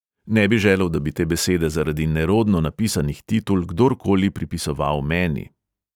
Ne bi želel, da bi te besede zaradi nerodno napisanih titul kdorkoli pripisoval meni.